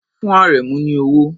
Fún Àrẹ̀mú ní owó!